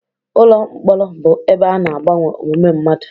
Ụlọ mkpọrọ bụ ebe ana agbanwe omume mmadụ.